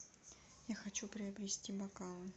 я хочу приобрести бокалы